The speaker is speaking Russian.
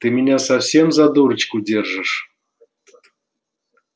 ты меня совсем за дурочку держишь